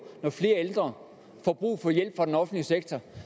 når flere ældre får brug for hjælp fra den offentlige sektor